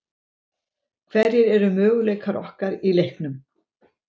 Hverjir eru möguleikar okkar í leiknum?